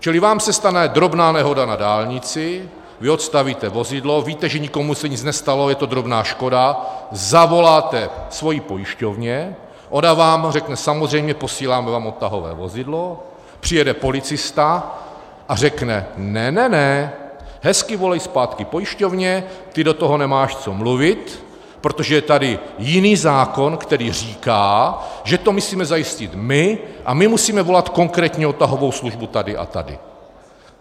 Čili vám se stane drobná nehoda na dálnici, vy odstavíte vozidlo, víte, že nikomu se nic nestalo, je to drobná škoda, zavoláte svojí pojišťovně, ona vám řekne samozřejmě, posíláme vám odtahové vozidlo, přijede policista a řekne ne, ne, ne, hezky volej zpátky pojišťovnu, ty do toho nemáš co mluvit, protože je tady jiný zákon, který říká, že to musíme zajistit my a my musíme volat konkrétní odtahovou službu tady a tady.